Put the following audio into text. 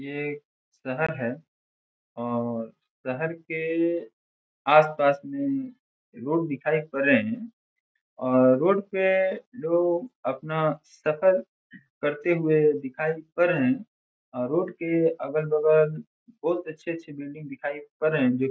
ये शहर है और शहर के आस-पास मे लोग दिखाई पड़े रहे है और रोड पे लोग अपना सफर करते हुए दिखाई पड़ रहे है रोड के अगल-बगल बहुत अच्छे-अच्छे बिल्डिंग दिखाई पड़ रहे है जो --